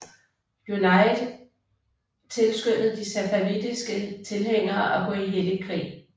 Junayd tilskyndede de safavidiske tilhængere at gå i hellig krig